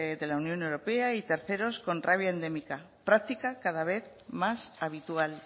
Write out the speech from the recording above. de la unión europea y terceros con rabia endémica práctica cada vez más habitual